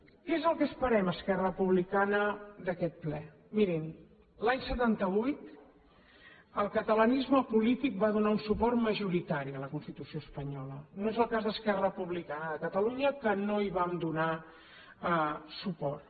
què és el que esperem esquerra republicana d’aquest ple mirin l’any setanta vuit el catalanisme polític va donar un suport majoritari a la constitució espanyola no és el cas d’esquerra republicana de catalunya que no hi vam donar suport